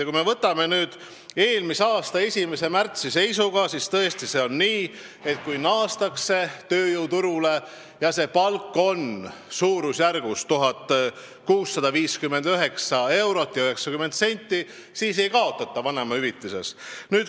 Kui me võtame eelmise aasta 1. märtsi seisu, siis on nii, et kui naastakse tööjõuturule ja palk on kuni 1659 eurot ja 90 senti, siis ei kaotata vanemahüvitises.